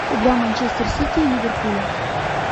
игра манчестер сити и ливерпуля